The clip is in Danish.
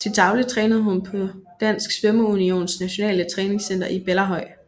Til daglig trænede hun på Dansk Svømmeunions Nationale Træningscenter i Bellahøj